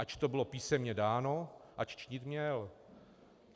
Ač to bylo písemně dáno, ač činit měl.